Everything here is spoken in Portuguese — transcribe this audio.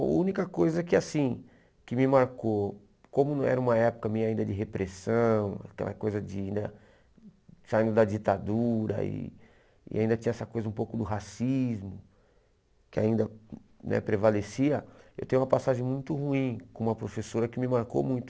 A única coisa que assim que me marcou, como não era uma época minha ainda de repressão, aquela coisa de né saindo da ditadura e e ainda tinha essa coisa um pouco do racismo, que ainda né prevalecia, eu tenho uma passagem muito ruim com uma professora que me marcou muito.